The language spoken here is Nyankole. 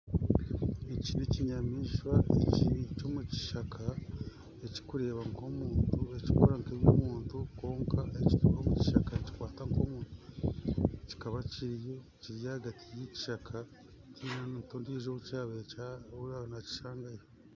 Eki nekinyamaishwa kiri omukishaka ekirikukora nka ebyabantu, kwonka ekituura omukishaka nikikwata nk'omuntu kikaba kiri ahagati y'ekishaka tihaine omuntu owaabaire nakishangayo.